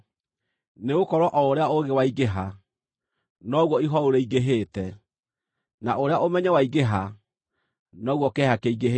Nĩgũkorwo o ũrĩa ũũgĩ waingĩha, noguo ihooru rĩingĩhĩte; na ũrĩa ũmenyo waingĩha, noguo kĩeha kĩingĩhĩte.